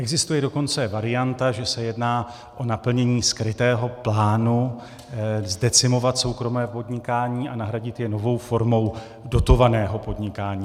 Existuje dokonce varianta, že se jedná o naplnění skrytého plánu zdecimovat soukromé podnikání a nahradit je novou formou dotovaného podnikání.